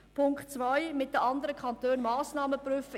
Zu Punkt 2, es seien mit den anderen Kantonen Massnahmen zu prüfen: